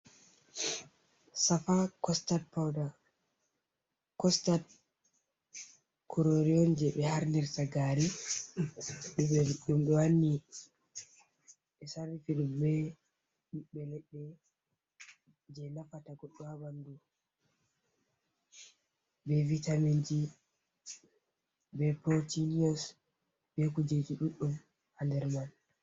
Shafa, shafa costad corori on je be harnirta gari, dum wanni be sarifidum je nafata goddo habandu, be vitamenji, be portinios, be kujeji duddum ha nder man.